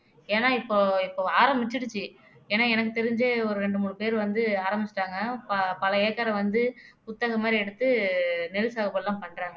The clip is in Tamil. ஏன்னா இப்போ இப்போ ஆரம்பிச்சிருச்சு ஏன்னா எனக்கு தெரிஞ்சு ஒரு இரண்டு மூணு பேர் வந்து ஆரம்பிச்சுட்டாங்க ப பல ஏக்கரை வந்து குத்தக மாதிரி எடுத்து நெல் சாகுப எல்லாம் பண்றாங்க